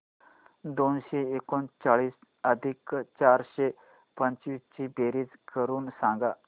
दोनशे एकोणचाळीस अधिक चारशे पंचवीस ची बेरीज करून सांगा